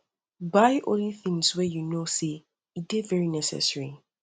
buy only tins wey yu um no sey e dey very um necessary